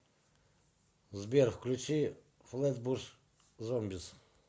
сбер включи флэтбуш зомбис